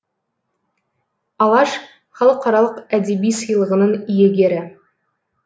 алаш халықаралық әдеби сыйлығының иегері